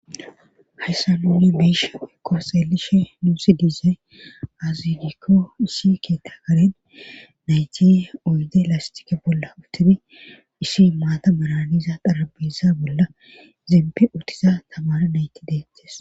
hayssa nuuni be'ishe woykko xeelishe nuusi dize azidikko isi keeta garen nayti oyde lastike bolla utudi isi maata baraniza xarabisa bolla zimpi uttiza tamara nayti deettes